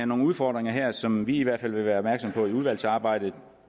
nogle udfordringer her som vi i hvert fald vil være opmærksomme på i udvalgsarbejdet